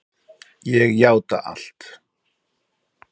Ég játa allt